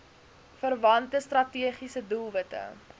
verwante strategiese doelwitte